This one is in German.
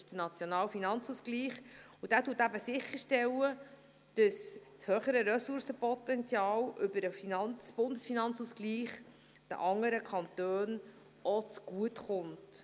Das ist der nationale Finanzausgleich, und dieser stellt sicher, dass das höhere Ressourcenpotenzial über den Bundesfinanzausgleich den anderen Kantonen auch zugutekommt.